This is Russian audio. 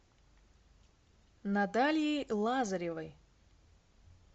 натальей лазаревой